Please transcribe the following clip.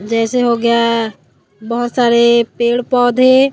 जैसे हो गया बहोत सारे पेड़ पौधे--